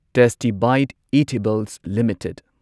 tasty Bite Eatables limited